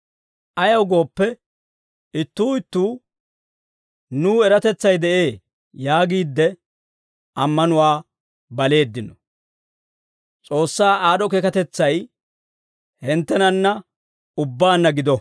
Ayaw gooppe, ittuu ittuu nuw eratetsay de'ee yaagiidde, ammanuwaa baleeddino. S'oossaa aad'd'o keekatetsay hinttenanna ubbaanna gido.